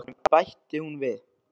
Hún er ekki í skólanum, bætti hún við.